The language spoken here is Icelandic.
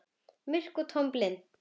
Myrk og tóm og blind.